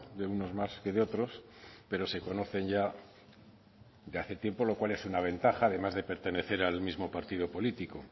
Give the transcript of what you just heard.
de unos más que de otros pero se conocen ya de hace tiempo lo cual es una ventaja además de pertenecer al mismo partido político